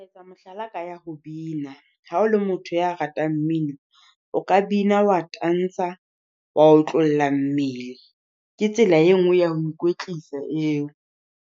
Etsa mohlala ka ya ho bina, Ha o le motho ya ratang mmino. O ka bina wa tansa a wa otlolla mmele. Ke tsela e nngwe ya ho ikwetlisa eo.